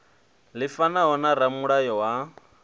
ḽi fanaho na ramulayo wa